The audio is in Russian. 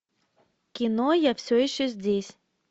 кино я все еще здесь